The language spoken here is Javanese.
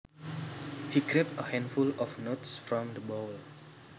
He grabbed a handful of nuts from the bowl